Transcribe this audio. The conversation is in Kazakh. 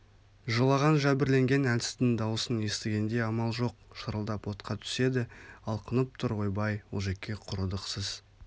жылаған жәбірленген әлсіздің дауысын естігенде амал жоқ шырылдап отқа түседі алқынып тұр ойбай олжеке құрыдық сіз